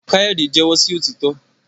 Kayode jẹwọ sí òtítọ